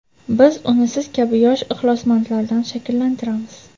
Biz uni siz kabi yosh ixlosmandlardan shakllantiramiz.